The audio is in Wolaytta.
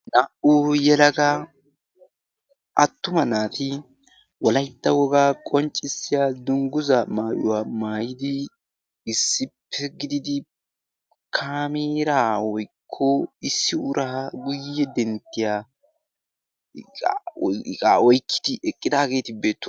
Naa"u yelaga attuma naati wolaytta wogaa qonccisdiya maayuwa dungguzzaa maayuwa maayidi issippe gididi kameeraa woykko issi uraa guyye denttiya iqaa oyqqidi eqqidaageeti beettoosona.